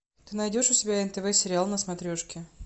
ты найдешь у себя нтв сериал на смотрешке